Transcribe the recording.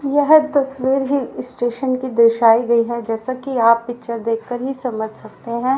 यह तस्वीर hill station की दर्शायी गई हैं जैसा कि आप पिक्चर देख कर ही समझ सकते हैं।